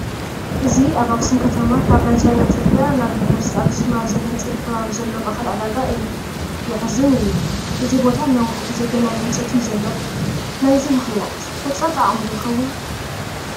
እዚ ኣብ ኣኽሱም ከተማ ካብ ናይ ቻይና ፅርጊያ ናብ ዩኒቨርሲቲ ኣኽሱም ኣብ ዘግንፅል ከባቢ ዘሎ ማእኸል ዕዳጋ እዩ፡፡ የሕዝን እዩ፡፡ እዚ ቦታ ንነዊሕ ግዜ ገና ኣብ ህንፀት እዩ ዘሎ፡፡ ናይዚ ምኽንያት ህፀረት ዓቕሚ ዶ ይኸውን፡፡